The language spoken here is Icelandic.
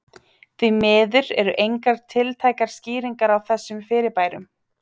Því miður eru engar tiltækar skýringar á þessum fyrirbærum.